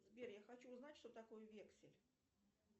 сбер я хочу узнать что такое вексель